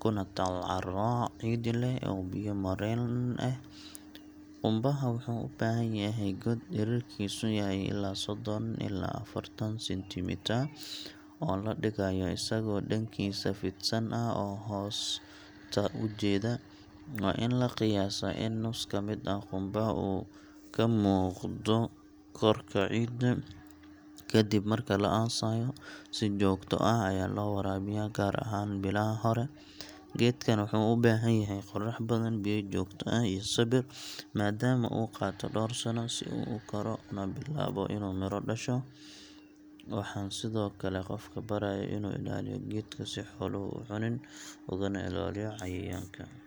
kuna taal carro ciid leh oo biyo mareen leh. Qumbaha wuxuu u baahan yahay god dhererkiisu yahay ilaa soddon ilaa affartan centimetre, oo la dhigayo isagoo dhankiisa fidsan ah hoosta u jeeda. Waa in la qiyaasaa in nus ka mid ah qumbaha uu ka muuqdo korka ciidda. Ka dib marka la aasayo, si joogto ah ayaa loo waraabiyaa, gaar ahaan bilaha hore. Geedkan wuxuu u baahan yahay qorrax badan, biyo joogto ah, iyo sabir, maadaama uu qaato dhowr sano si uu u koro una bilaabo inuu miro dhasho. Waxaan sidoo kale qofka barayaa inuu ilaaliyo geedka si xooluhu u cunin, ugana ilaaliyo cayayaanka. Sidaas darteed, beerida qumbuhu waxay u baahan tahay dulqaad iyo daryeel, laakiin natiijada waa mid miro badan oo faa’iido leh sanado badan.